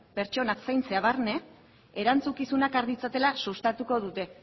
pertsonak zaintzea barne erantzukizunak har ditzatela sustatuko dute